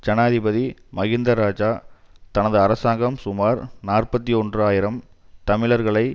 ஜனாதிபதி மகிந்த இராஜா தனது அரசாங்கம் சுமார் நாற்பத்தி ஒன்று ஆயிரம் தமிழர்களை